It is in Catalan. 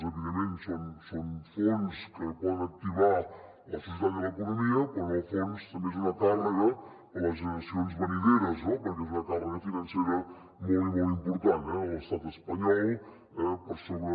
evidentment són fons que poden activar la societat i l’economia però en el fons també són una càrrega per a les generacions venidores no perquè és una càrrega financera molt i molt important eh de l’estat espanyol eh per sobre